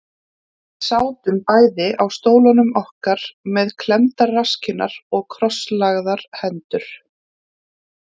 Við sátum bæði á stólunum okkar með klemmdar rasskinnar og krosslagðar hendur.